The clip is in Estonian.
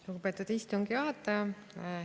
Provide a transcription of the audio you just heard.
Lugupeetud istungi juhataja!